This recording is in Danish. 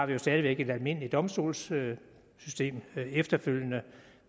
der stadig væk et almindeligt domstolssystem efterfølgende